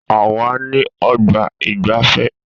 A wà ní ọgbà ìgbafẹ́.